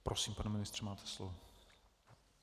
Prosím, pane ministře, máte slovo.